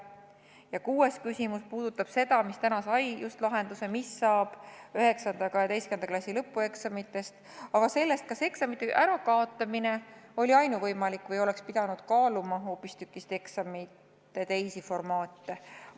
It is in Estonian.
Ja kuues küsimus, mis täna sai lahenduse, puudutab nii seda, mis saab 9. ja 12. klassi lõpueksamitest, kui ka seda, kas eksamite ärakaotamine oli ainuvõimalik või oleks pidanud kaaluma hoopistükkis eksamite teisi formaate.